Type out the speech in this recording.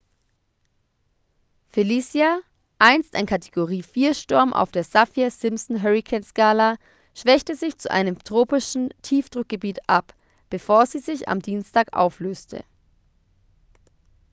felicia einst ein kategorie 4-sturm auf der saffir-simpson-hurrikanskala schwächte sich zu einem tropischen tiefdruckgebiet ab bevor sie sich am dienstag auflöste